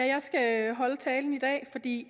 jeg skal holde talen i dag fordi